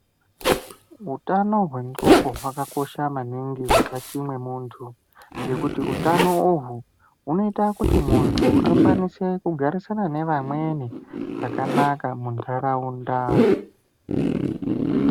Hutano hwengonxo hwakakosha maningi mukati memuntu ngekuti hutano uhu unoita kuti muntu akwanise kugarisana nevamweni zvakanaka mundaraunda.